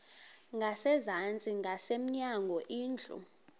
ngasezantsi ngasemnyango indlu